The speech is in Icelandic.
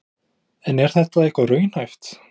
Kristján: En er þetta eitthvað raunhæft?